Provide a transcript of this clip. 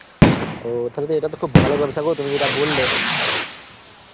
ও তাহলে তো এটা তো খুব ভালো ব্যবসা গো তুমি যেটা বললে